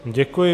Děkuji.